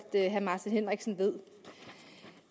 herre martin henriksen ved